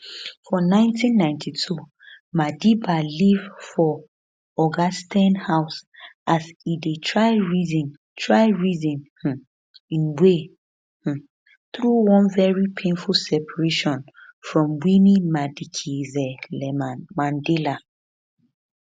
for 1992 madiba live for [oga steyn] house as e dey try reason try reason um im way um through one very painful separation from winnie madikizelamandela